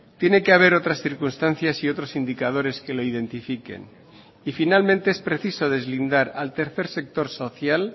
tiene que haber otras circunstancias y otros indicadores que lo identifiquen y finalmente es preciso deslindar al tercer sector social